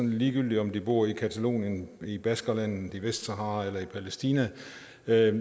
ligegyldigt om de bor i catalonien i baskerlandet i vestsahara eller i palæstina det